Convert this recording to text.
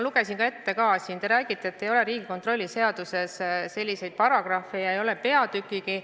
Teiseks, te räägite, et Riigikontrolli seaduses ei ole selliseid paragrahve ja ei ole sellist peatükkigi.